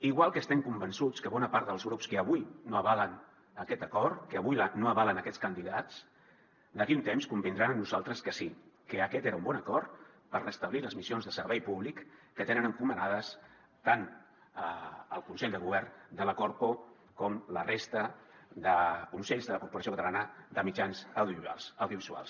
igual que estem convençuts que bona part dels grups que avui no avalen aquest acord que avui no avalen aquests candidats d’aquí un temps convindran amb nosaltres que sí que aquest era un bon acord per restablir les missions de servei públic que tenen encomanades tant el consell de govern de la corpo com la resta de consells de la corporació catalana de mitjans audiovisuals